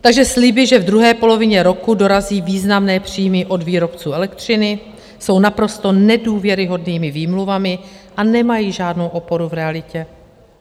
Takže sliby, že v druhé polovině roku dorazí významné příjmy od výrobců elektřiny, jsou naprosto nedůvěryhodnými výmluvami a nemají žádnou oporu v realitě.